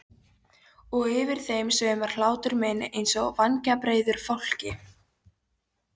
Og yfir þeim sveimar hlátur minn einsog vængjabreiður fálki.